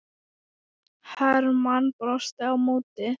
Hermann brosti á móti.